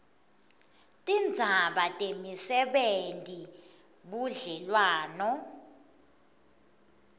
tindzaba temisebenti budlelwano